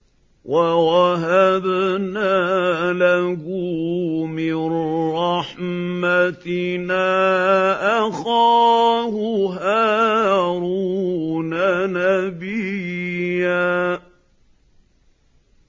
وَوَهَبْنَا لَهُ مِن رَّحْمَتِنَا أَخَاهُ هَارُونَ نَبِيًّا